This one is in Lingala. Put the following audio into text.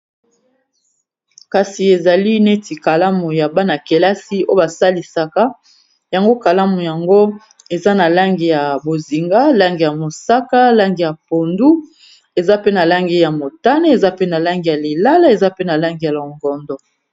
Kasi ezali neti kalamu ya bana kelasi oyo basalisaka yango kalamu yango eza na langi ya bozinga ,lange ya mosaka ,lange ya pondu eza pe na langi ya motane, eza pe na langi ya lilala, eza pe na lange ya logondo.